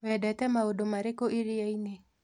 Wendete maũndũ marĩkũ iria-inĩ?